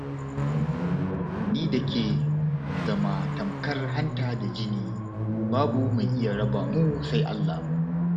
Ni da ke mun zama tamkar hanta da jini, babu mai iya raba mu sai Allah.